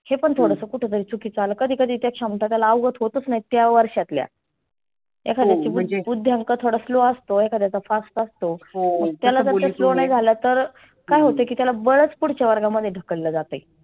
हे पण थोडसं कुठ तरी चुकीच आलं. कधी कधी त्या क्षमता त्याला आवघत होतच नाहीत. त्या वर्षातल्या एखाद्याचा बुध्द्यांक थोडासा slow असतो, एखाद्याचा fast असतो. मग त्याला जर slow नाही झाला तर काय होतं की त्याला बलच पुढच्या वर्गामध्ये ढकललं जातय.